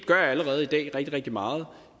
gør allerede i dag rigtig rigtig meget